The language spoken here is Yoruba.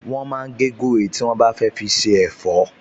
Wọ́n máa ń gé gúre tí wọ́n bá fẹ́ fi se ẹ̀fọ́